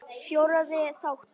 Fjórði þáttur